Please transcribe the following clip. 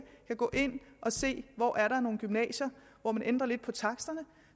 kan gå ind og se hvor der er nogle gymnasier hvor man ændrer lidt på taksterne